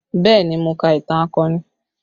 Bẹẹ ni, mo ka ìtàn akọni